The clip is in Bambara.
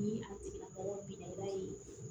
Ni a tigila mɔgɔ binna i b'a ye